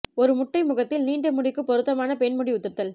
ஒரு முட்டை முகத்தில் நீண்ட முடிக்கு பொருத்தமான பெண் முடி உதிர்தல்